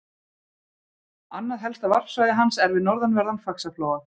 Annað helsta varpsvæði hans er við norðanverðan Faxaflóa.